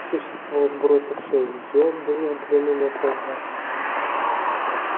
существо сбросившее её было в длину метров двадцать